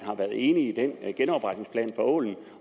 været enig i den genopretningsplan for ålen